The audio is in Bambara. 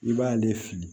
I b'ale fili